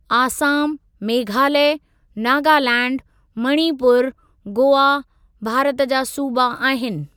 आसाम, मेघालय, नागालैंड, मणिपुर, गोआ भारत जा सूबा आहिनि।